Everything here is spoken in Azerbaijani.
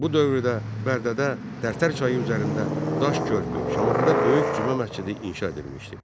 Bu dövrdə Bərdədə Tərtər çayı üzərində daş körpü, Şamaxıda Böyük Cümə məscidi inşa edilmişdi.